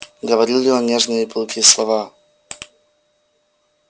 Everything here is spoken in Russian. говорил ли он ей нежные и пылкие слова